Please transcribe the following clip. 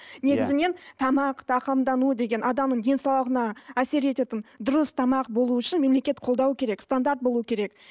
негізінен тамақ тағамдану деген адамның денсаулығына әсер ететін дұрыс тамақ болуы үшін мемелекет қолдауы керек стандарт болуы керек